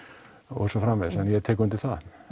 og svo framvegis og ég tek undir það